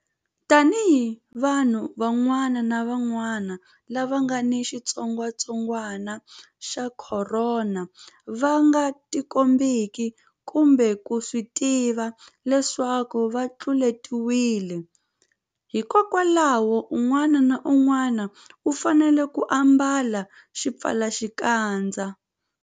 Tanihiloko vanhu van'wana lava nga ni xitsongwantsongwanaxa Khorona va nga tikombeki kumbe ku swi tiva leswaku va tluletiwile, hikwalaho un'wana na un'wana u fanele ku ambala xipfalaxikandza.